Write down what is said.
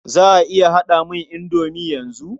Za a iya dafa mini indomi yanzu?